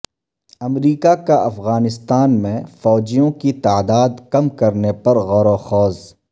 امریکہ کا افغانستان میں فوجیوں کی تعداد کم کرنے پر غور وخوض